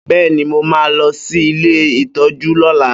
Bẹ́ẹ́ni, mo máa lọ sí ilé ìtọ́jú lola